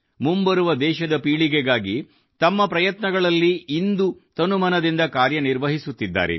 ಮುಂಬರುವ ದೇಶದ ಪೀಳಿಗೆಗಾಗಿ ತಮ್ಮ ಪ್ರಯತ್ನಗಳಲ್ಲಿ ಇಂದು ತನುಮನದಿಂದ ಕಾರ್ಯನಿರ್ವಹಿಸುತ್ತಿದ್ದಾರೆ